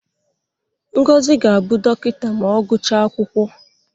Ngozi ga-abụ dọkịta ma ọ gụchaa akwụkwọ.